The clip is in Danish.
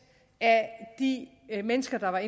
af de mennesker der